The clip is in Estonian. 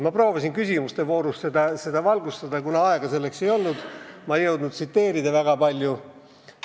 Ma proovisin küsimuste voorus seda valgustada, aga kuna aega ei olnud, siis ma ei jõudnud väga palju tsiteerida.